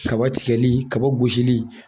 Kaba tikɛli, kaba gosili